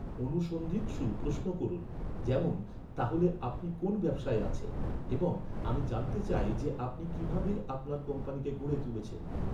অনুসন্ধিৎসু প্রশ্ন করুন, যেমন, "তাহলে আপনি কোন ব্যবসায় আছেন?" এবং "আমি জানতে চাই যে, আপনি কিভাবে আপনার কোম্পানিকে গড়ে তুলেছেন!"